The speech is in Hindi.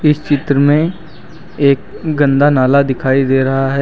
चित्र में एक गंदा नाला दिखाई दे रहा है।